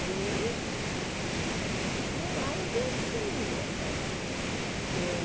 E, no mais, é assim ah eu.